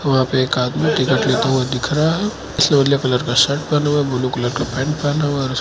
वहां पे एक आदमी दिख रहा है शर्ट पहना हुआ है ब्लू कलर का पैंट पहना हुआ--